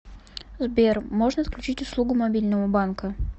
сбер можно отключить услугу мобильного банка